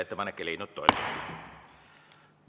Ettepanek ei leidnud toetust.